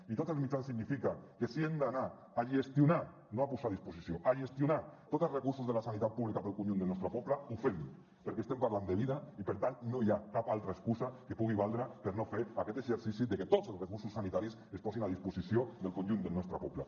i tots els mitjans significa que si hem d’anar a gestionar no a posar a disposició a gestionar tots els recursos de la sanitat pública per al conjunt del nostre poble ho fem perquè estem parlant de vida i per tant no hi ha cap altra excusa que pugui valdre per no fer aquest exercici de que tots els recursos sanitaris es posin a disposició del conjunt del nostre poble